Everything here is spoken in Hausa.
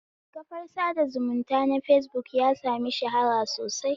Kafar sada zumunta na fesbuk ya sami shahara sosai